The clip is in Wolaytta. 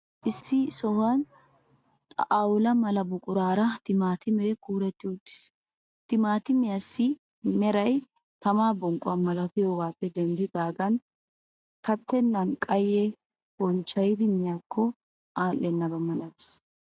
Issi sohuwan xawula mala buquraara timaatimee kuuretti uttiis. Timaatimiyaassi meray tamaa bonqquwaa malatiyoogaappe denddidaagan kattennan qayye honccayidi miyaakko alennabaa malatees.